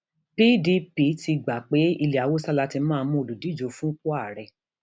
pdp ti gbà pé ilẹ haúsá la ti máa mú olùdíje fúnpò ààrẹ